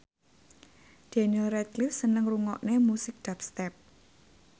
Daniel Radcliffe seneng ngrungokne musik dubstep